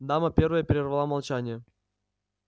дама первая перервала молчание